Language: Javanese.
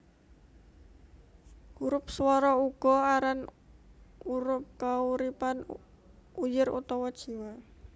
Hurup swara uga aran hurup kauripan uyir utawa jiwa